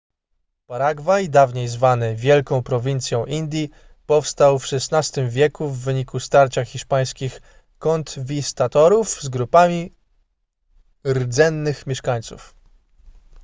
paragwaj dawniej zwany wielką prowincją indii powstał w xvi wieku w wyniku starcia hiszpańskich konkwistadorów z grupami rdzennych mieszkańców